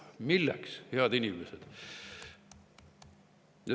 Milleks, head inimesed?